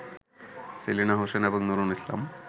সেলিনা হোসেন এবং নূরুল ইসলাম